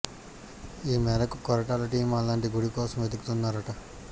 ఈ మేరకు కొరటాల టీమ్ అలాంటి గుడి కోసం వెతుకుతున్నారట